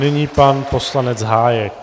Nyní pan poslanec Hájek.